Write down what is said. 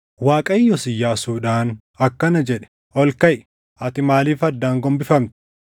Waaqayyos Iyyaasuudhaan akkana jedhe; “Ol kaʼi! Ati maaliif addaan gombifamte?